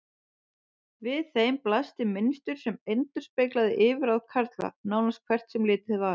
Við þeim blasti mynstur sem endurspeglaði yfirráð karla, nánast hvert sem litið var.